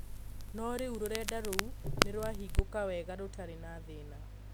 No rĩu rurenda rũu nĩrwahingũka wega rũtarĩ na thĩna